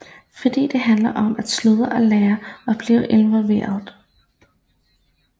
Fordi det handler om at studere og lære og blive involveret